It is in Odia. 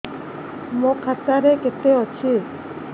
ମୋ ଖାତା ରେ କେତେ ଅଛି